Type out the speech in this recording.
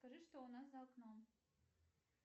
скажи что у нас за окном